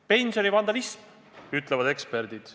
Pensionivandalism, ütlevad eksperdid.